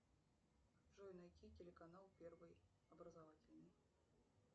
джой найти телеканал первый образовательный